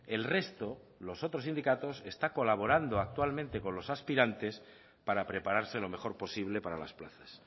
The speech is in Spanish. el resto los otros sindicatos está colaborando actualmente con los aspirantes para prepararse lo mejor posible para las plazas